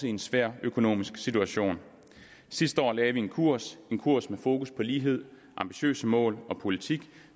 i en svær økonomisk situation sidste år lagde vi en kurs en kurs med fokus på lighed ambitiøse mål og en politik